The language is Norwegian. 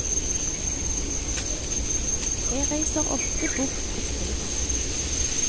Jeg reiser ofte bort og skriver.